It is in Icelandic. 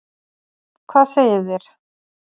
Hvað segið þér?